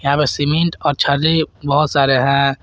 यहां पे सीमेंट और छर्री बहोत सारे हैं।